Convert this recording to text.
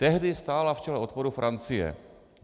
Tehdy stála v čele odporu Francie.